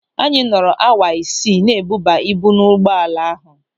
Anyị nọrọ awa isii na-ebuba ibu n'ụgbọala ahụ.